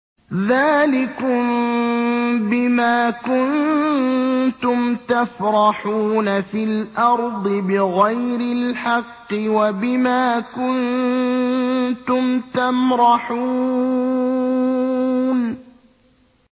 ذَٰلِكُم بِمَا كُنتُمْ تَفْرَحُونَ فِي الْأَرْضِ بِغَيْرِ الْحَقِّ وَبِمَا كُنتُمْ تَمْرَحُونَ